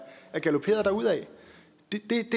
galoperet derudad det